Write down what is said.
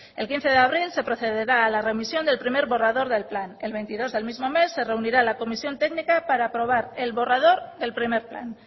el quince de abril se procederá a la remisión del primer borrador del plan el veintidós del mismo mes se reunirá la comisión técnica para aprobar el borrador del primer plan